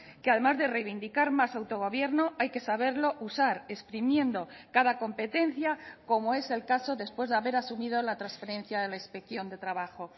que además de reivindicar más autogobierno hay que saberlo usar exprimiendo cada competencia como es el caso después de haber asumido la transferencia de la inspección de trabajo